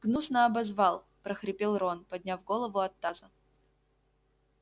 гнусно обозвал прохрипел рон подняв голову от таза